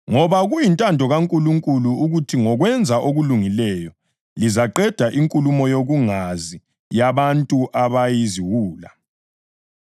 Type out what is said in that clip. Ngoba kuyintando kaNkulunkulu ukuthi ngokwenza okulungileyo lizaqeda inkulumo yokungazi yabantu abayiziwula.